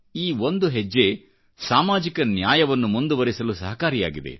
ಈ ಒಂದು ಹೆಜ್ಜೆ ಸಾಮಾಜಿಕ ನ್ಯಾಯವನ್ನು ಮುಂದುವರೆಸಲು ಸಹಕಾರಿಯಾಗಿದೆ